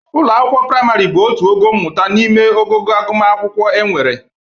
Ụlọ akwụkwọ prịmarị bụ otu ogo mmụta n'ime ogogo agụmakwụkwọ e nwere.